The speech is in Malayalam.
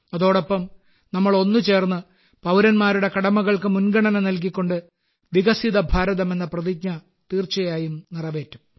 അതോടൊപ്പം നമ്മൾ ഒന്നു ചേർന്ന് പൌരന്മാരുടെ കടമകൾക്ക് മുൻഗണന നൽകികൊണ്ട് വികസിത ഭാരതം എന്ന പ്രതിജ്ഞ തീർച്ചയായും നിറവേറ്റും